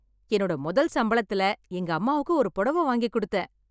என்னோட முதல் சம்பளத்தில் எங்க அம்மாக்கு ஒரு புடவை வாங்கி கொடுத்தேன்.